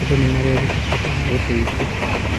Andũ nĩ mareruta bata wa ũteithio.